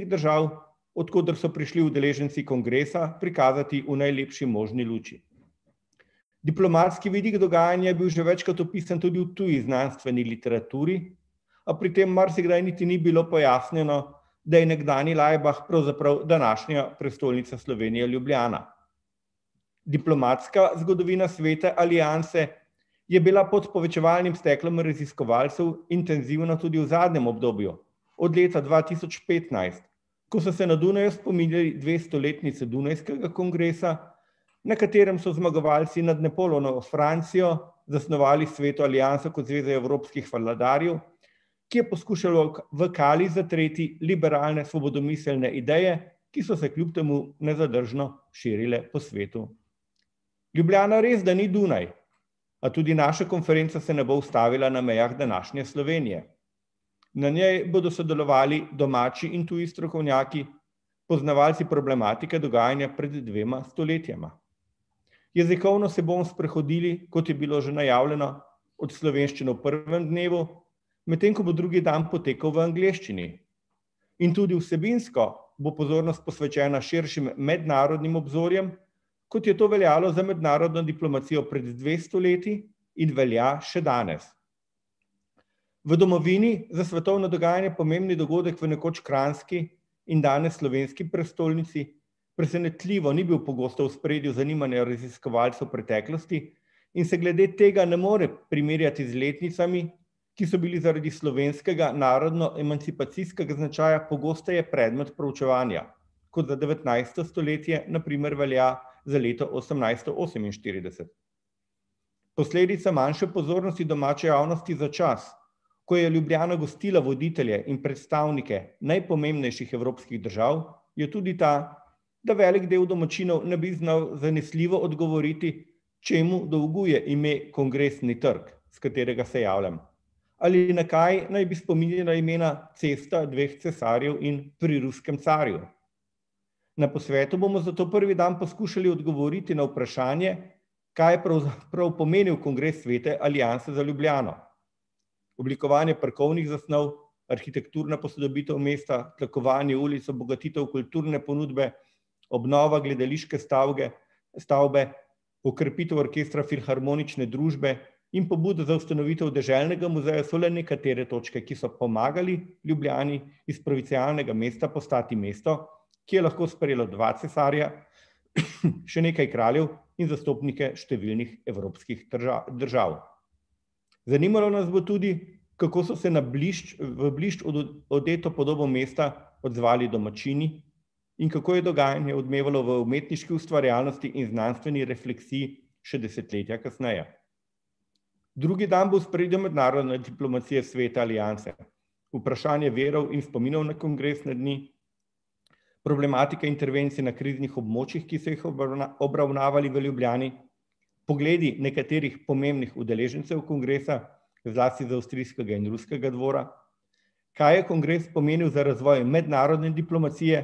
držav, od koder so prišli udeleženci kongresa, prikazati v najlepši možni luči. Diplomatski vidik dogajanja je bil že večkrat opisan tudi v tudi znanstveni literaturi, a pri tem marsikdaj niti ni bilo pojasnjeno, da je nekdanji Laibach pravzaprav današnja prestolnica Slovenije, Ljubljana. Diplomatska zgodovina Svete alianse je bila pod steklom povečevalnim raziskovalcev intenzivna tudi v zadnjem obdobju, od leta dva tisoč petnajst, ko so se na Dunaju spominjali dvestoletnice dunajskega kongresa, na katerem so zmagovalci nad Napoleonovo Francijo zasnovali Sveto alianso kot zveze evropskih vladarjev, ki je poskušala v kali zatreti liberalne, svobodomiselne ideje, ki so se kljub temu nezadržno širile po svetu. Ljubljana resda ni Dunaj, a tudi naša konferenca se ne bo ustavila na mejah današnje Slovenije. Na njej bodo sodelovali domači in tudi strokovnjaki, poznavalci problematike dogajanja pred dvema stoletjema. Jezikovno se bomo sprehodili, kot je bilo že najavljeno, od slovenščine v prvem dnevu, medtem ko bo drugi dan potekal v angleščini. In tudi vsebinsko bo pozornost posvečena širšim mednarodnim obzorjem, kot je to veljalo za mednarodno diplomacijo pred dvesto leti in velja še danes. V domovini za svetovno dogajanje pomembni dogodek v nekoč kranjski in danes slovenski prestolnici presenetljivo ni bil pogosto v ospredju zanimanja raziskovalcev v preteklosti in se glede tega ne more primerjati z letnicami, ki so bili zaradi slovenskega narodnoemancipacijskega značaja pogosteje predmet proučevanja, kot za devetnajsto stoletje na primer velja za leto osemnajststo oseminštirideset. Posledica manjše pozornosti domače javnosti za čas, ko je Ljubljana gostila voditelje in predstavnike najpomembnejših evropskih držav, je tudi ta, da velik del domačinov ne bi znal zanesljivo odgovoriti, čemu dolguje ime Kongresni trg, s katerega se javljam, ali na kaj naj bi spominjala imena Cesta dveh cesarjev in pri Ruskem carju. Na posvetu bomo zato prvi dan poskušali odgovoriti na vprašanje, kaj prav pomeni kongres Svete alianse za Ljubljano. Oblikovanje parkovnih zasnov, arhitekturna posodobitev mesta, tlakovanje ulic, obogatitev kulturne ponudbe, obnova gledališke stavge, stavbe, okrepitev orkestra Filharmonične družbe in pobuda za ustanovitev deželnega muzeja so le nekatere točke, ki so pomagali Ljubljani iz provincialnega mesta postati mesto, ki je lahko sprejelo dva cesarja, še nekaj kraljev in zastopnike številnih evropskih držav. Zanimalo nas bo tudi, kako so se na blišč, v blišč odeto podobo mesta odzvali domačini in kako je dogajanje odmevalo v umetniški ustvarjalnosti in znanstveni refleksiji še desetletja kasneje. Drugi dan bo v ospredju mednarodna diplomacija Svete alianse, vprašanje virov in spominov na kongresne dni, problematika intervencije na kriznih območjih, ki so jih obravnavali v Ljubljani, pogledi nekaterih pomembnih udeležencev kongresa, zlasti z avstrijskega in ruskega dvora, kaj je kongres pomenil za razvoj mednarodne diplomacije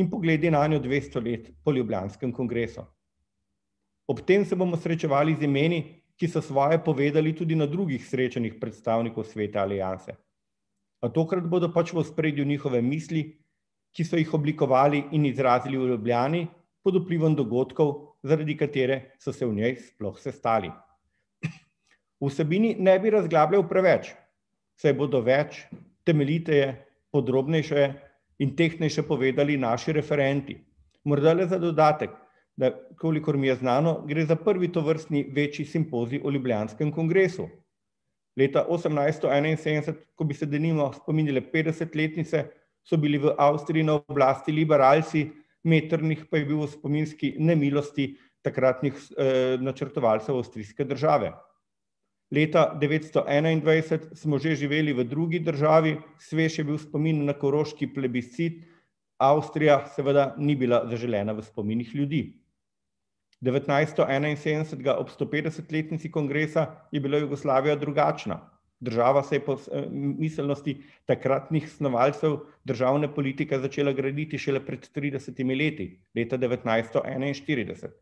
in pogledi nanjo dvesto let po ljubljanskem kongresu. Ob tem se bomo srečevali z imeni, ki so svoje povedali tudi na drugih srečanjih predstavnikov Svete alianse. A tokrat bodo pač v ospredju njihove misli, ki so jih oblikovali in izrazili v Ljubljani pod vplivom dogodkov, zaradi katere so se v njej sploh sestali. O vsebini ne bi razglabljal preveč, saj bodo več, temeljiteje, podrobnejše in tehtnejše povedali naši referenti. Morda le za dodatek, da, kolikor mi je znano, gre za prvi tovrstni večji simpozij o ljubljanskem kongresu. Leta osemnajststo enainsedemdeset, ko bi se denimo spominjali petdesetletnice, so bili v Avstriji na oblasti liberalci, Metternich pa je bil v spominski nemilosti takratnih načrtovalcev avstrijske države. Leta devetsto enaindvajset smo že živeli v drugi državi, svež je bil spomin na koroški plebiscit, Avstrija seveda ni bila zaželena v spominih ljudi. Devetnajststo enainsedemdesetega, ob stopetdesetletnici kongresa, je bila Jugoslavija drugačna. Država se je pod, miselnosti takratnih snovalcev državne politike začela graditi šele pred tridesetimi leti, leta devetnajststo enainštirideset.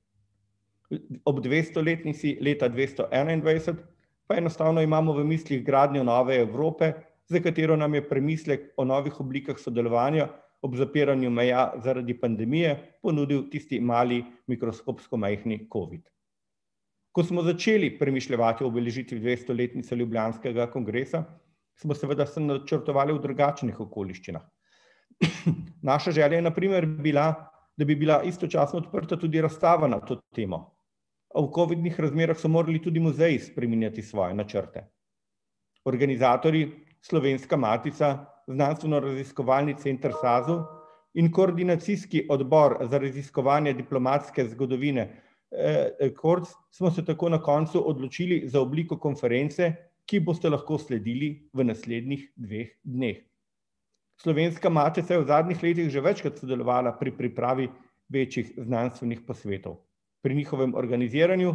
ob dvestoletnici, leta dvesto enaindvajset, pa enostavno imamo v mislih gradnjo nove Evrope, za katero nam je premislek o novih oblikah sodelovanja ob zapiranju meja zaradi pandemije ponudil tisti mali mikroskopsko majhni covid. Ko smo začeli premišljevati o obeležitvi dvestoletnice ljubljanskega kongresa, smo seveda vse načrtovali v drugačnih okoliščinah. Naša želja je na primer bila, da bi bila istočasno odprta tudi razstava na to temo, a v covidnih razmerah so morali tudi muzeji spreminjati svoje načrte. Organizatorji Slovenska matica, Znanstvenoraziskovalni center SAZU in koordinacijski odbor za raziskovanje diplomatske zgodovine, KORC smo se tako na koncu odločili za obliko konference, ki ji boste lahko sledili v naslednjih dveh dneh. Slovenska matica je v zadnjih letih že večkrat sodelovala pri pripravi večjih znanstvenih posvetov. Pri njihovem organiziranju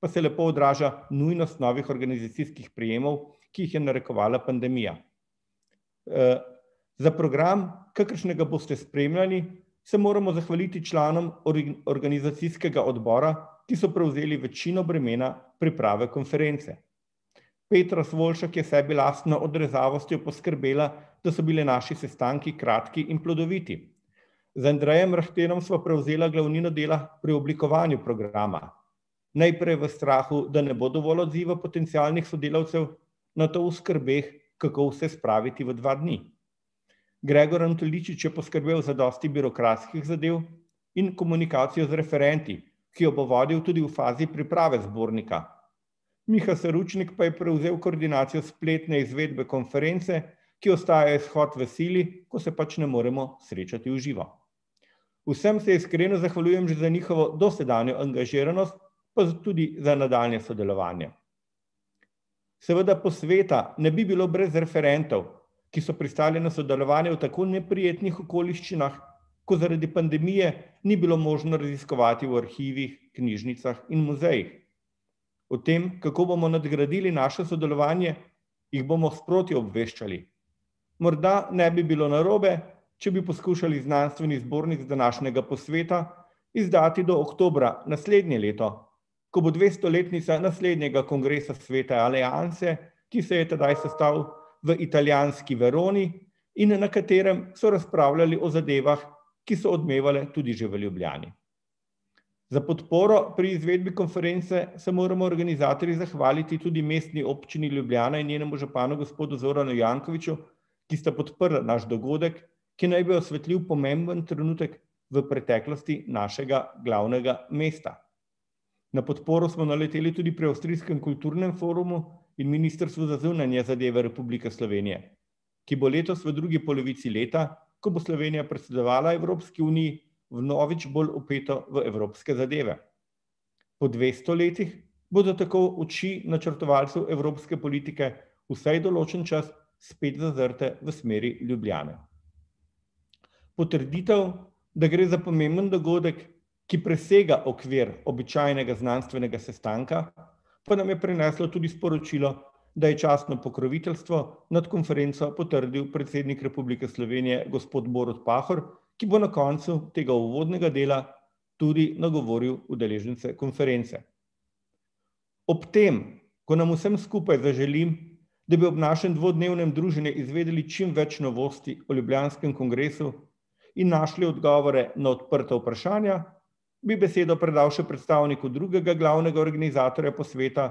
pa se lepo odraža nujnost novih organizacijskih prijemov, ki jih je narekovala pandemija. za program, kakršnega boste spremljali, se moramo zahvaliti članom organizacijskega odbora, ki so prevzeli večino bremena priprave konference. Petra Svoljšak je s sebi lastno odrezavostjo poskrbela, da so bili naši sestanki kratki in plodoviti. Z Andrejem Rahtenom sva prevzela glavnino dela pri oblikovanju programa, najprej v strahu, da ne bo dovolj odziva potencialnih sodelavcev, nato v skrbeh, kako vse spraviti v dva dni. Gregor Antoličič je poskrbel za dosti birokratskih zadev in komunikacijo z referenti, ki jo bo vodil tudi v fazi priprave zbornika. Miha Seručnik pa je prevzel koordinacijo spletne izvedbe konference, ki ostaja izhod v sili, ko se pač ne moremo srečati v živo. Vsem se iskreno zahvaljujem za dosedanjo angažiranost, pa tudi za nadaljnje sodelovanje. Seveda posveta ne bi bilo brez referentov, ki so pristali na sodelovanje v tako neprijetnih okoliščinah, ko zaradi pandemije ni bilo možno raziskovati v arhivih, knjižnicah in muzejih. O tem, kako bomo nadgradili naše sodelovanje, jih bomo sproti obveščali. Morda ne bi bilo narobe, če bi poskušali znanstveni zbornik z današnjega posveta izdati do oktobra naslednje leto, ko bo dvestoletnica naslednjega kongresa Svete alianse, ki se je tedaj sestal v italijanski Veroni in na katerem so razpravljali o zadevah, ki so odmevale tudi že v Ljubljani. Za podporo pri izvedbi konference se moramo organizatorji zahvaliti tudi Mestni občini Ljubljana in njenemu županu gospodu Zoranu Jankoviću, ki sta podprla naš dogodek, ki naj bi osvetlil pomemben trenutek v preteklosti našega glavnega mesta. Na podporo smo naleteli tudi pri avstrijskem kulturnem forumu in Ministrstvu za zunanje zadeve Republike Slovenije, ki bo letos v drugi polovici leta, ko bo Slovenija predsedovala Evropski uniji, vnovič bolj vpeto v evropske zadeve. Po dvesto letih bodo tako oči načrtovalcev evropske politike vsaj določen čas spet zazrte v smeri Ljubljane. Potrditev, da gre za pomemben dogodek, ki presega okvir običajnega znanstvenega sestanka, pa nam je prineslo tudi sporočilo, da je častno pokroviteljstvo nad konferenco potrdil predsednik Republike Slovenije, gospod Borut Pahor, ki bo na koncu tega uvodnega dela tudi nagovoril udeležence konference. Ob tem, ko nam vsem skupaj zaželim, da bi ob našem dvodnevnem druženju izvedli čim več novosti o ljubljanskem kongresu in našli odgovore na odprta vprašanja, bi besedo predal še predstavniku drugega glavnega organizatorja posveta,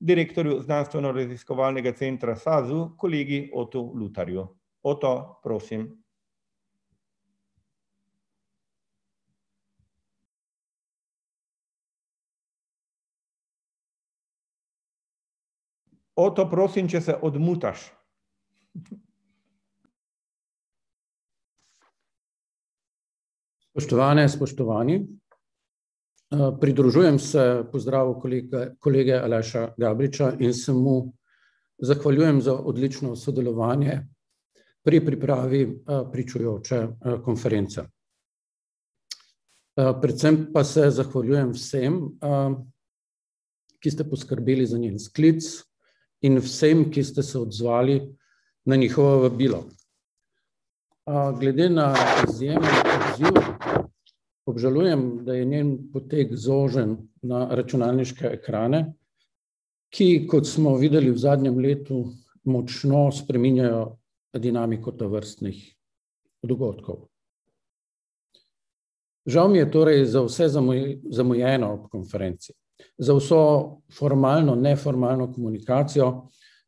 direktorju Znanstvenoraziskovalnega centra SAZU, kolegi Otu Lutharju. Oto, prosim. Oto, prosim, če se odmutaš. Spoštovane, spoštovani, pridružujem se pozdravu kolega, kolege Aleša Gabriča in se mu zahvaljujem za odlično sodelovanje pri pripravi, pričujoče, konference. predvsem pa se zahvaljujem vsem, ki ste poskrbeli za njen sklic, in vsem, ki ste se odzvali na njihovo vabilo. glede na izjemen odziv obžalujem, da je njen potek zožen na računalniške ekrane, ki, kot smo videli v zadnjem letu, močno spreminjajo dinamiko tovrstnih dogodkov. Žal mi je torej za vse zamujeno na konferenci, za vso formalno, neformalno komunikacijo,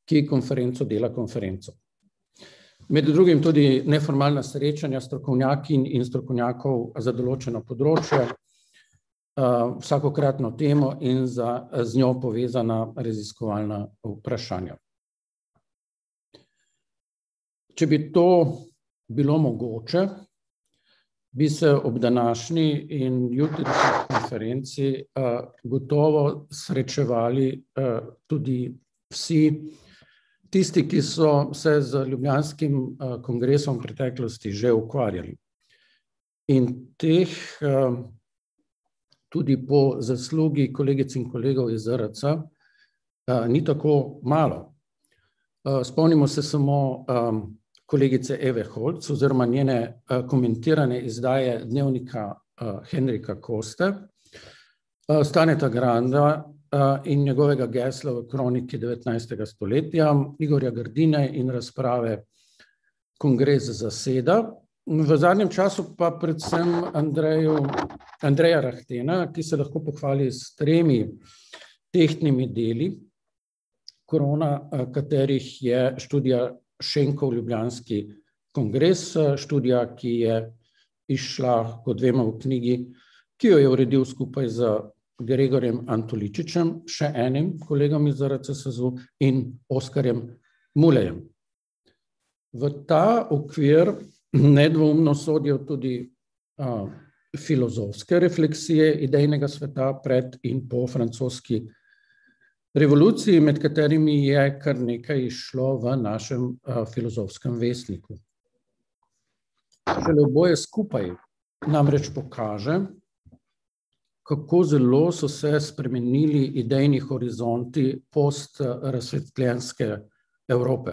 ki konferenco dela konferenco. Med drugim tudi neformalna srečanja strokovnjakinj in strokovnjakov za določeno področje, vsakokratno temo in za z njo povezana raziskovalna vprašanja. Če bi to bilo mogoče, bi se ob današnji in jutrišnji konferenci, gotovo srečevali, tudi vsi tisti, ki so se z ljubljanskim, kongresom v preteklosti že ukvarjali. In teh, tudi po zaslugi kolegic in kolegov iz ZRC, ni tako malo. spomnimo se samo, kolegice Eve Holc oziroma njene, komentirane izdaje dnevnika, Henrika Koste, Staneta Granda in njegovega gesla v kroniki devetnajstega stoletja, Igorja Grdine in razprave Kongres zaseda, v zadnjem času pa predvsem Andreju, Andreja Rahtena, ki se lahko pohvali s tremi tehtnimi deli, krona, katerih je študija Šenkov Ljubljanski kongres, študija, ki je izšla, kot vemo, v knjigi, ki jo je uredil skupaj z Gregorjem Antoličičem, še enim kolegom iz ZRC SAZU, in Oskarjem Mulejem. V ta okvir nedvoumno sodijo tudi, filozofske refleksije idejnega sveta pred in po francoski revoluciji, med katerimi je kar nekaj izšlo v našem, Filozofskem vestniku. oboje skupaj namreč pokaže, kako zelo so se spremenili idejni horizonti postrazsvetljenske Evrope.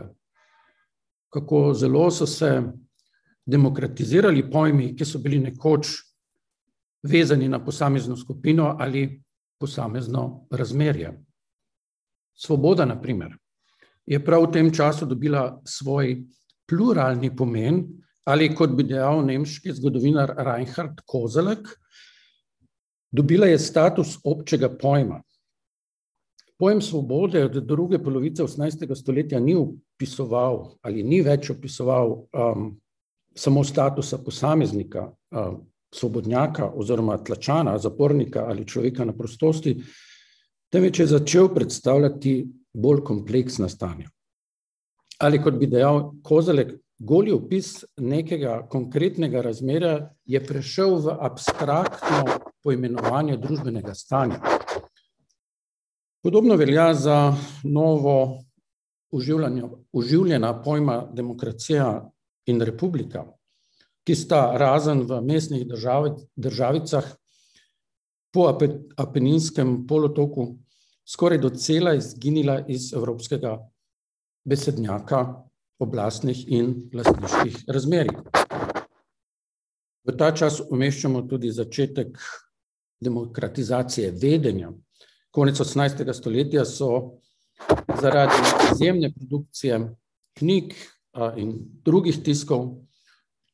Kako zelo so se demokratizirali pojmi, ki so bili nekoč vezani na posamezno skupino ali posamezno razmerje. Svoboda, na primer, je prav v tem času dobila svoj pluralni pomen ali, kot bi dejal nemški zgodovinar Reinhart Koselleck, dobila je status občega pojma. Pojem svobode od druge polovice osemnajstega stoletja ni opisoval ali ni več opisoval, samo statusa posameznika, svobodnjaka oziroma tlačana, zapornika ali človeka na prostosti, temveč je začel predstavljati bolj kompleksna stanja. Ali kot bi dejal Koselleck, goli opis nekega konkretnega razmerja je prešel v abstraktno poimenovanje družbenega stanja. Podobno velja za novo oživljena pojma demokracija in republika, ki sta razen v mestnih državicah po Apeninskem polotoku skoraj docela izginila iz evropskega besednjaka oblastnih in lastniških razmerij. V ta čas umeščamo tudi začetek demokratizacije vedenja. Konec osemnajstega stoletja so zaradi izjemne produkcije knjig, in drugih tiskov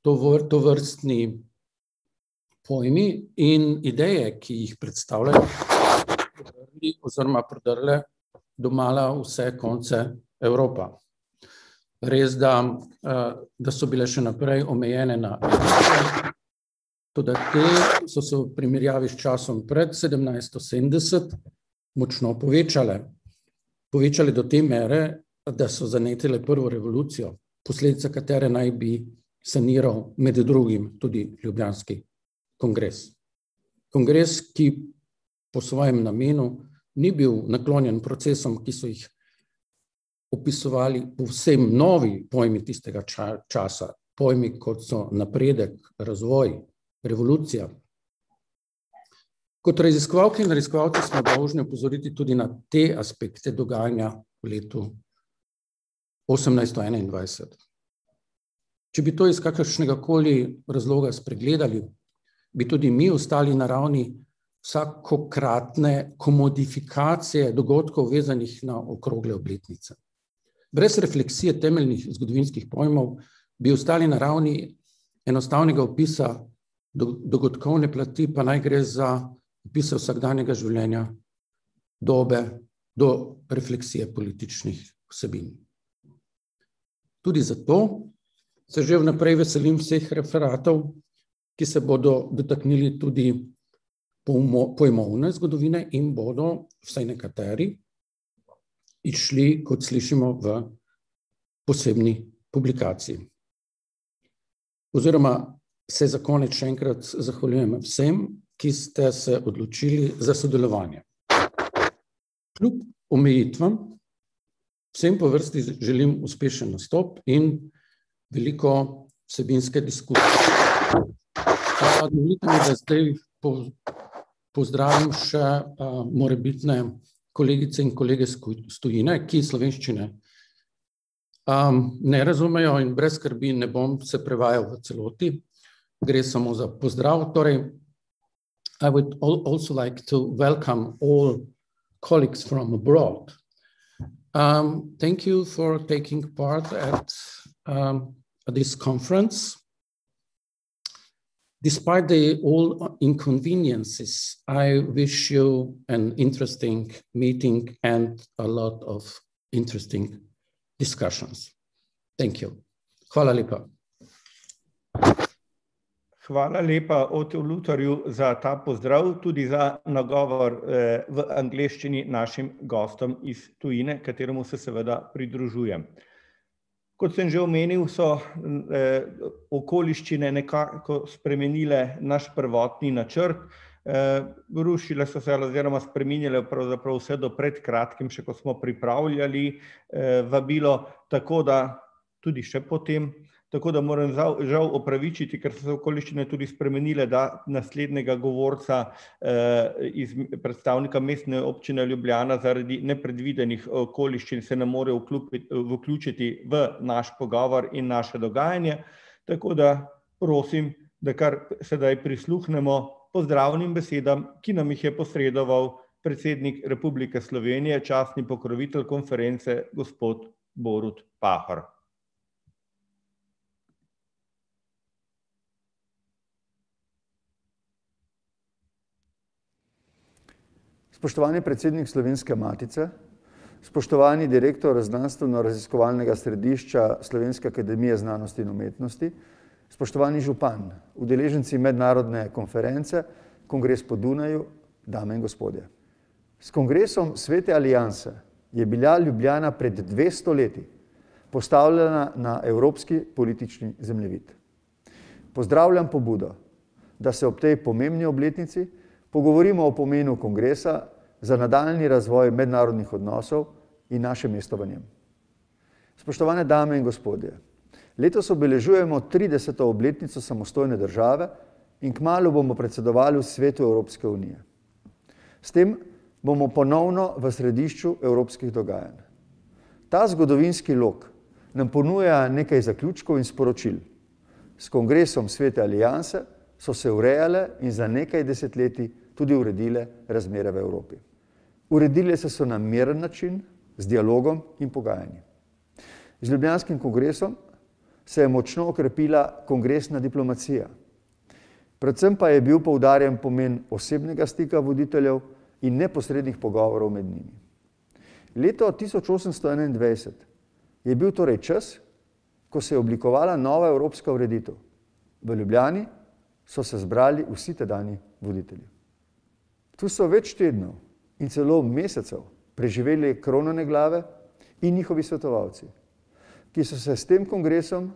tovrstni pojmi in ideje, ki jih predstavljajo, oziroma predrle domala v vse konce Evropa. Resda, da so bile še naprej omejene na ... Toda te so se v primerjavi s časom pred sedemnajststo sedemdeset močno povečale. Povečale do te mere, da so zanetile prvo revolucijo, posledica katere naj bi saniral med drugim tudi ljubljanski kongres. Kongres, ki po svojem namenu ni bil naklonjen procesom, ki so jih opisovali povsem novi pojmi tistega časa, pojmi, kot so napredek, razvoj, revolucija. Kot raziskovalke in raziskovalci smo dolžni opozoriti tudi na te aspekte dogajanja v letu osemnajststo enaindvajset. Če bi to iz kakršnega koli razloga spregledali, bi tudi mi ostali na ravni vsakokratne komodifikacije dogodkov, vezanih na okrogle obletnice. Brez refleksije temeljnih zgodovinskih pojmov bi ostali na ravni enostavnega opisa dogodkovne plati, pa naj gre za opise vsakdanjega življenja, dobe do refleksije političnih vsebin. Tudi zato se že vnaprej veselim vseh referatov, ki se bodo dotaknili tudi pojmovne zgodovine in bodo vsaj nekateri izšli, kot slišimo, v posebni publikaciji. Oziroma se za konec še enkrat zahvaljujem vsem, ki ste se odločili za sodelovanje. Kljub omejitvam vsem po vrsti želim uspešen nastop in veliko vsebinske Pozdravim še, morebitne kolegice in kolege s s tujine, ki slovenščine, ne razumejo, in brez skrbi, ne bom se prevajal v celoti. Gre samo za pozdrav. Torej: Hvala lepa. Hvala lepa Otu Lutahrju za ta pozdrav, tudi za nagovor, v angleščini našim gostom iz tujine, kateremu se seveda pridružujem. Kot sem že omenil, so, okoliščine nekako spremenile naš prvotni načrt, rušile so se oziroma spreminjale pravzaprav vse do pred kratkim, še ko smo pripravljali, vabilo, tako da tudi še potem. Tako da moram žal opravičiti, ker so okoliščine tudi spremenile, da naslednjega govorca, predstavnika Mestne občine Ljubljana zaradi nepredvidenih okoliščin se ne more vključiti v naš pogovor in naše dogajanje, tako da prosim, da kar sedaj prisluhnemo pozdravnim besedam, ki nam jih je posredoval predsednik Republike Slovenije, častni pokrovitelj konference, gospod Borut Pahor. Spoštovani predsednik Slovenske matice, spoštovani direktor Znanstvenoraziskovalnega središča Slovenske akademije znanosti in umetnosti, spoštovani župan, udeleženci mednarodne konference Kongres po Dunaju, dame in gospodje. S kongresom Svete alianse je bila Ljubljana pred dvesto leti postavljena na evropski politični zemljevid. Pozdravljam pobudo, da se ob tej pomembni obletnici pogovorimo o pomenu kongresa za nadaljnji razvoj mednarodnih odnosov in naše mesto v njem. Spoštovane dame in gospodje. Letos obeležujemo trideseto obletnico samostojne države in kmalu bomo predsedovali v svetu Evropske unije. S tem bomo ponovno v središču evropskih dogajanj. Ta zgodovinski lok nam ponuja nekaj zaključkov iz poročil. S kongresom Svete alianse so se urejale in za nekaj desetletij tudi uredile razmere v Evropi. Uredile so se na miren način, z dialogom in pogajanji. Z ljubljanskim kongresom se je močno okrepila kongresna diplomacija. Predvsem pa je bil poudarjen pomen osebnega stika voditeljev in neposrednih pogovorov med njimi. Leto tisoč osemsto enaindvajset je bil torej čas, ko se je oblikovala nova evropska ureditev. V Ljubljani so se zbrali vsi tedanji voditelji. Tu so več tednov in celo mesecev preživele kronane glave in njihovi svetovalci, ki so se s tem kongresom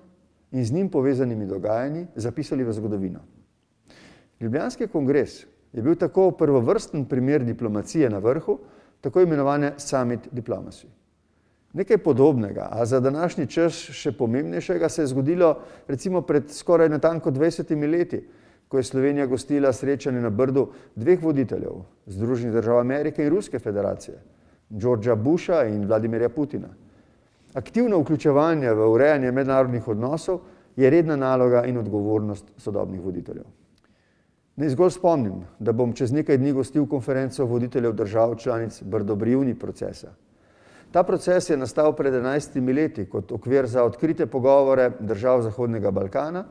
in z njim povezanimi dogajanji zapisali v zgodovino. Ljubljanski kongres je bil tako prvovrsten primer diplomacije na vrhu, tako imenovane . Nekaj podobnega, a za današnji čas še pomembnejšega, se je zgodilo recimo skoraj natanko pred dvajsetimi leti, ko je Slovenija gostila srečanje na Brdu dveh voditeljev, Združenih držav Amerike in Ruske federacije, Georgea Busha in Vladimirja Putina. Aktivno vključevanje v urejanje mednarodnih odnosov je redna naloga in odgovornost sodobnih voditeljev. Naj zgolj spomnim, da bom čez nekaj dni gostil konferenco voditeljev držav članic procesa. Ta proces je nastal pred enajstimi leti kot okvir za odkrite pogovore držav zahodnega Balkana,